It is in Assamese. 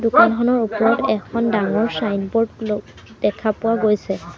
দোকানখনৰ ওপৰত এখন ডাঙৰ ছাইনবোৰ্ড ল দেখা পোৱা গৈছে।